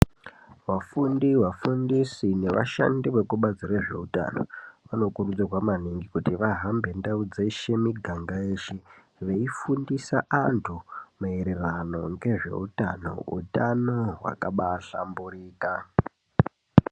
Vafundi, vafundisi nevashandi vekubazi rezveutano vanokurudzirwa maningi kuti vahambe ndau dzeshe, miganga yeshe veifundisa antu maererano ngezveutano, utano hwakabahlamburika.